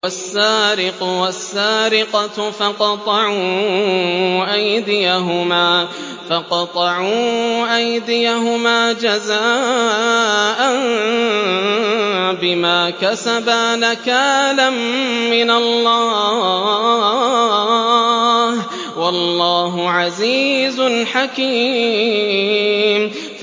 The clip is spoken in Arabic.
وَالسَّارِقُ وَالسَّارِقَةُ فَاقْطَعُوا أَيْدِيَهُمَا جَزَاءً بِمَا كَسَبَا نَكَالًا مِّنَ اللَّهِ ۗ وَاللَّهُ عَزِيزٌ حَكِيمٌ